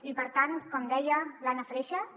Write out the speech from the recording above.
i per tant com deia l’anna freixas